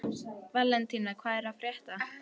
Valentína, hvað er að frétta?